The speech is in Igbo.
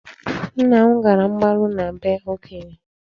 Nna m gara mgbaru na bee Okoye.